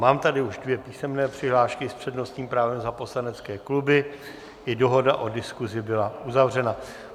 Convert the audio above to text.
Mám tady už dvě písemné přihlášky s přednostním právem za poslanecké kluby, i dohoda o diskuzi byla uzavřena.